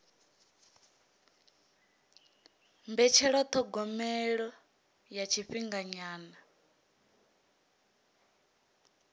mbetshelwa ya thogomelo ya tshifhinganyana